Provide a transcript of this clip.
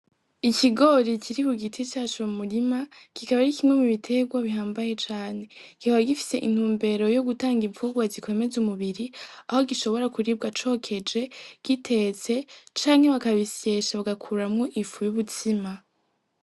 Ikigori kiri ku giti caco mu murima ,kikaba ari kimwe mu biterwa bihambaye cane, kikaba gifise intumbero yo gutanga imfugurwa zikomeza umubiri aho gishobora kuribwa cokeje, gitetse canke bakabisyesha bakabikurwo ifu y'ubutsima.